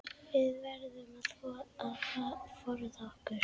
Við verðum að forða okkur.